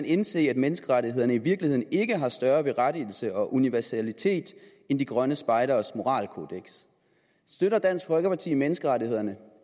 indse at menneskerettighederne i virkeligheden ikke har større berettigelse og universalitet end de grønne spejderes moralkodeks støtter dansk folkeparti menneskerettighederne